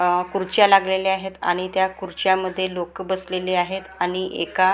हा खुर्च्या लागलेल्या आहेत आणि त्या खुर्च्यांमध्ये लोकं बसलेले आहेत आणि एका--